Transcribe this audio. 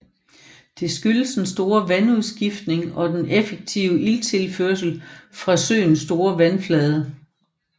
Det skyldes den store vandudskiftning og den effektive ilttilførsel fra søens store vandflade